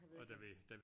Jeg ved ikke hvad